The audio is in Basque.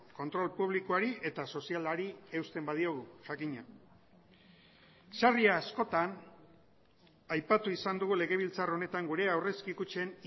kontrol publikoari eta sozialari eusten badiogu jakina sarri askotan aipatu izan dugu legebiltzar honetan gure aurrezki kutxen